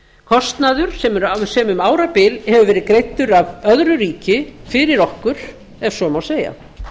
kostnaður sem um árabil hefur verið greiddur af öðru ríki fyrir okkur ef svo má segja